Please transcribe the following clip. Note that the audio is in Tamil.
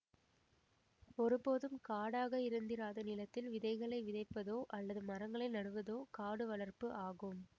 ஒருபோதும் காடாக இருந்திராத நிலத்தில் விதைகளை விதைப்பதோ அல்லது மரங்களை நடுவதோ காடு வளர்ப்பு ஆகும்